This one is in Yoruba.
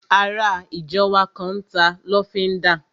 Ará ìjọ wa kan n ta lọ́fíndà